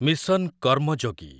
mission Karmayogi